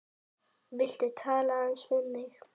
Viltu tala aðeins við mig.